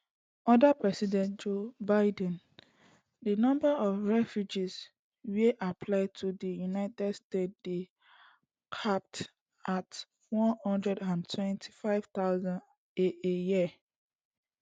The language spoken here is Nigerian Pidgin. under president joe biden di number of refugee wey apply to di united states dey capped at one hundred and twenty-five thousand a a year